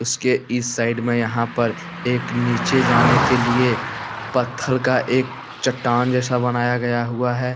उसके इस साइड में यहां पर एक नीचे जाने के लिए पत्थर का एक चट्टान जैसा बनाया गया हुआ है।